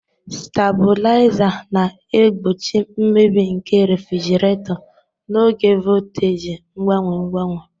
Stabuliza na-egbochi mmebi nke refrjiraeto n'oge voltaji mgbanwe mgbanwe.